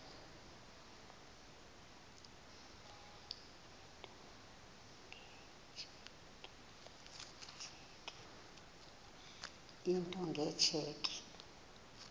into nge tsheki